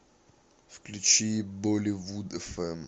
включи боливудэфэм